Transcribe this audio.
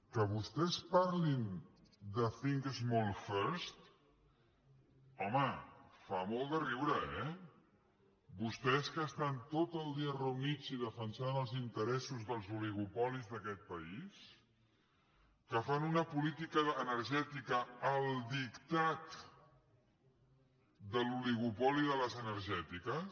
que vostès parlin de think small first home fa molt de riure eh vostès que estan tot el dia reunits i defensant els interessos dels oligopolis d’aquest país que fan una política energètica al dictat de l’oligopoli de les energètiques